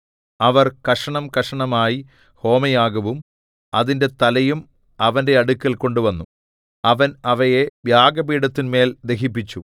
അവർ കഷണംകഷണമായി ഹോമയാഗവും അതിന്റെ തലയും അവന്റെ അടുക്കൽ കൊണ്ടുവന്നു അവൻ അവയെ യാഗപീഠത്തിന്മേൽ ദഹിപ്പിച്ചു